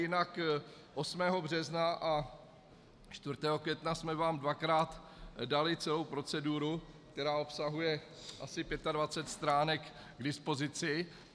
Jinak 8. března a 4. května jsme vám dvakrát dali celou proceduru, která obsahuje asi 25 stránek, k dispozici.